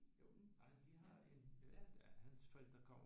Jo men ej vi har en hans forældre kommer